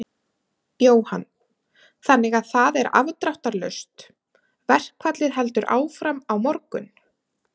Jóhann: Þannig að það er afdráttarlaust, verkfallið heldur áfram á morgun?